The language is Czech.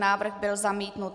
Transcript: Návrh byl zamítnut.